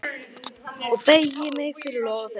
Og ég beygi mig fyrir loga þeirra.